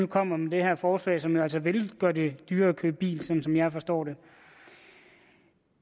kommer med det her forslag som jo altså vil gøre det dyrere at købe bil sådan som jeg forstår det